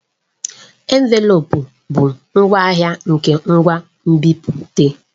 Envelopu bụ ngwaahịa nke ngwa nbipute.